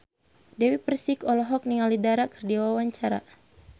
Dewi Persik olohok ningali Dara keur diwawancara